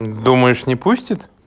думаешь не пустит